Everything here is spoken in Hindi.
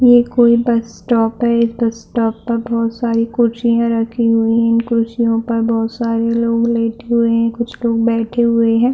ये कोई बस स्टॉप है बस स्टॉप पर बहुत सारी कुर्सियाँ रखी हुई हैं कुर्सियों पर बहुत सारे लोग लेटे हुए हैं कुछ लोग बैठे हुए हैं।